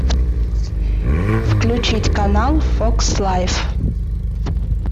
включить канал фокс лайф